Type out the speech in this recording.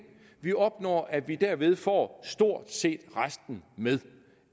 vi opnår at vi derved får stort set resten med